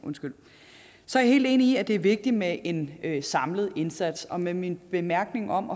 så er jeg helt enig i at det er vigtigt med en en samlet indsats og med min bemærkning om